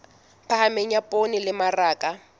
phahameng ya poone le mmaraka